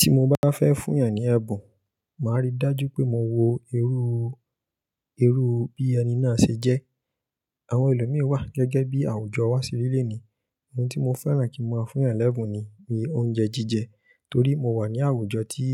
Tí mo bá fẹ́ fún èèyàn ní ẹ̀bùn, màá rí i dájú pé mo wo irú, irú bí ẹni náà ṣe jẹ́. Àwọn ẹlòmíi wà gẹ́gẹ́ bí àwùjọ wá seri lení, ohun tí mo fẹ́ràn kí n máa fún èèyàn lẹ́bùn ni bí oúnjẹ jíjẹ torí mo wà ní àwùjọ tí